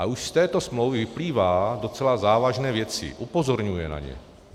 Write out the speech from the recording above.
A už z této smlouvy vyplývají docela závažné věci, upozorňují na ně.